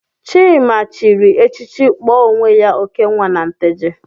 Chima chịrị echichi kpọọ onwe ya Okenwa na Nteje.